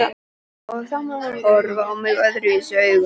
Og þá mun hún horfa á mig öðruvísi augum.